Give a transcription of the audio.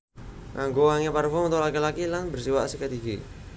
Nganggo wangi parfum untuk laki laki lan bersiwak sikat gigi